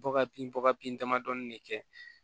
Bɔ ka bin bɔ ka bin damadɔni de kɛ